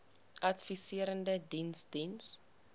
adviserende diens diens